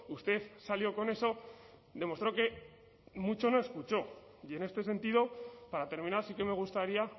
usted salió con eso demostró que mucho no escuchó y en este sentido para terminar sí que me gustaría